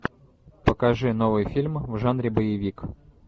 покажи новый фильм в жанре боевик